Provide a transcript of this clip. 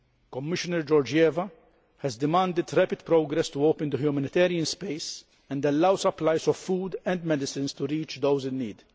Commissioner Georgieva has demanded rapid progress to open the humanitarian space and allow supplies of food and medicines to reach those in need.